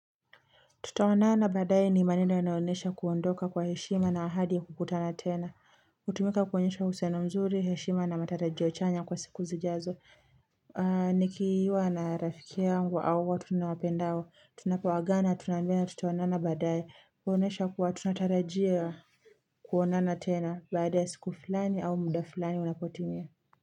Tuta onana badae ni maneno yanaonesha kuondoka kwa heshima na ahadi ya kukutana tena hutumika kuonyesha uhusiano mzuri heshima na matarajio chanya kwa siku zi jazo Nikiiwa na rafiki angu au watu niwapendao tunapoagana tunambiana tutaonana badae kuonesha kuwa tunatarajia Kuonana tena baada ya siku fulani au muda fulani unapotimia.